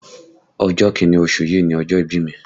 Ọjọ́ kìíní oṣù yìí ni ọjọ́ ìbí mi